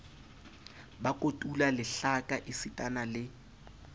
ba kotula lehlaka esitana le